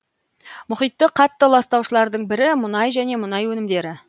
мұхитты қатты ластаушылардың бірі мұнай және мұнай өнімдері